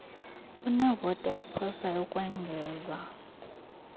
unevoti ayiphosayo ukwengeza